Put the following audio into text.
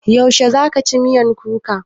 Yaushe za ka ci miyan kuka?